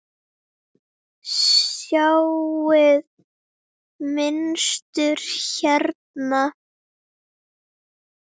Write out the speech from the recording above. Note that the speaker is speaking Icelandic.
Sjáiði mynstur hérna?